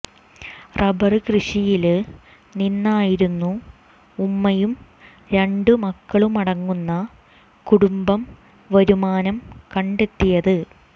rubber കൃഷിയില് നിന്നായിരുന്നു ഉമ്മയും രണ്ടു മക്കളുമടങ്ങുന്ന കുടുംബം വരുമാനം കണ്ടെത്തിയത്